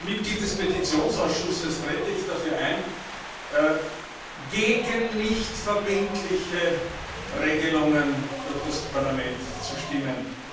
Als Mitglied des Petitionsausschusses trete ich dafür ein, gegen nichtverbindliche Regelungen durch das Parlament zu stimmen.